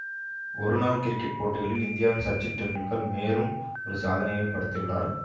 ஒரு நாள் கிரிக்கெட் போட்டிகளில் இந்தியாவின் சச்சின் டெண்டுல்கர் மேலும் ஒரு சாதனையை படைத்துள்ளார்